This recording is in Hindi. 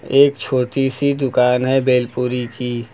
एक छोटी सी दुकान है भेलपुरी की।